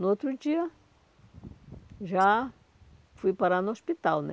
No outro dia, já fui parar no hospital né.